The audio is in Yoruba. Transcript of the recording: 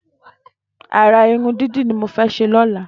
Àrà irùn didi ni mó fè ṣé lọ̀lá